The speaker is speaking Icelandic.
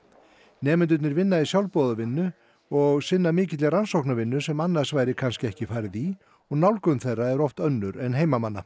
nemendurnir vinna í sjálfboðavinnu og sinna mikilli rannsóknarvinnu sem annars væri kannski ekki farið í og nálgun þeirra oft önnur en heimamanna